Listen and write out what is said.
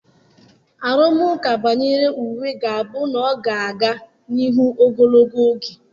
Arụmụka banyere uwe ga-abụ na ọ ga-aga n'ihu ogologo oge.